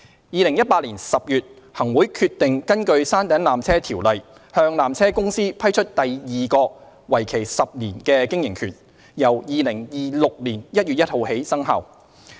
2018年10月，行會決定根據《條例》向纜車公司批出第二個為期10年的經營權，由2026年1月1日起生效。